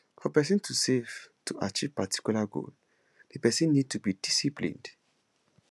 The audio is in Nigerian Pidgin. for person to save to achieve particula goal di person need to dey disciplined